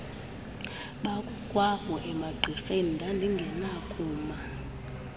bakokwabo emagqirheni ndandingenakuma